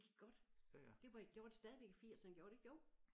Det gik godt det var i gjorde det stadigvæk i firserne gjorde det ikke jo?